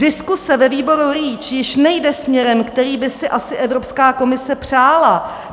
Diskuze ve výboru REACH již nejde směrem, který by si asi Evropská komise přála.